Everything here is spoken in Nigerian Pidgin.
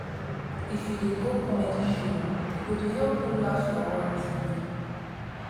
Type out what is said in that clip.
if you dey go comedy show e go dey help you laugh your worries away.